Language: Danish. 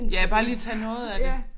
Ja bare lige tage noget af det